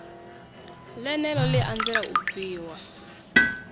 ḽeneḽo ḽi anzela u bviwa